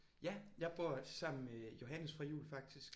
Ja jeg bor sammen med Johannes fra jul faktisk